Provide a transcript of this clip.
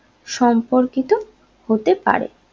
সম্পর্কিত হতে পারে